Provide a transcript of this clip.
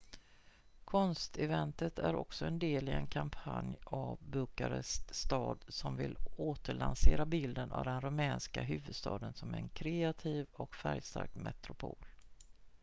konsteventet är också en del i en kampanj av bukarest stad som vill återlansera bilden av den rumänska huvudstaden som en kreativ och färgstark metropol